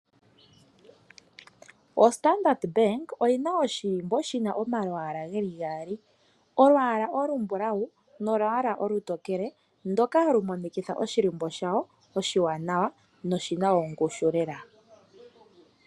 OStandard Bank oyi na oshilimbo shi na omalwaala geli gaali, olwaala olumbulawu nolwaala olutokele ndoka hali monikitha oshilimbo shawo oshiwanawa, na oshina ongushu lela.